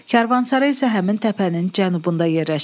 Karvansara isə həmin təpənin cənubunda yerləşir.